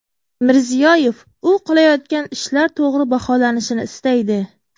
Mirziyoyev u qilayotgan ishlar to‘g‘ri baholanishini istaydi.